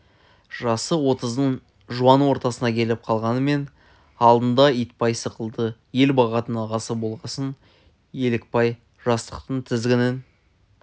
жасы отыздың жуан ортасына келіп қалғанмен алдында итбай сықылды ел бағатын ағасы болғасын елікбай жастықтың тізгінін